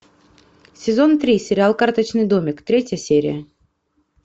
сезон три сериал карточный домик третья серия